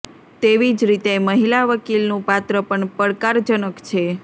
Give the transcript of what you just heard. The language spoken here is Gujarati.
તેવી જ રીતે મહિલા વકીલનું પાત્ર પણ પડકારજનક છે